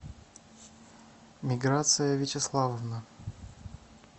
миграция вячеславовна